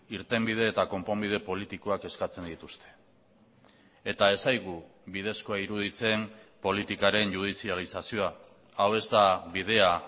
irtenbide eta konponbide politikoak eskatzen dituzte eta ez zaigu bidezkoa iruditzen politikaren judizializazioa hau ez da bidea